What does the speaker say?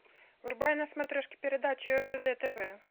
врубай на смотрешке передачу ржд тв